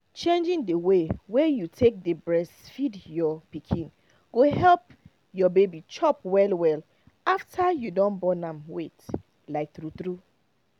changing the way wey you take dey breastfeed your pikin go help your baby chop well well after you don born am wait like true true